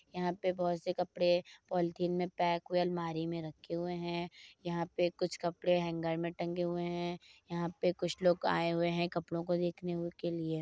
यहाँ पे बहुत से कपड़े पॉलिथीन में पैक हुए अलमारी में रखे हुए हैं। यहाँ पर कुछ कपडे हेंगर मे टंगे हुए हैं। यहाँ पे कुछ लोग आए हुए हैं कपड़ों को देखने हुए के लिए।